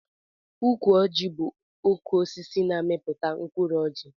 Ukwu ọji bu ukwu osisi na amiputa mkụrụ ọji.